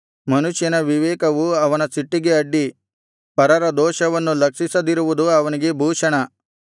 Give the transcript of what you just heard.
ಮನುಷ್ಯನ ವಿವೇಕವು ಅವನ ಸಿಟ್ಟಿಗೆ ಅಡ್ಡಿ ಪರರ ದೋಷವನ್ನು ಲಕ್ಷಿಸದಿರುವುದು ಅವನಿಗೆ ಭೂಷಣ